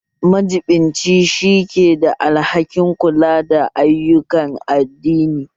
Majibinci shi ke da alhakin kula da ayyukan addini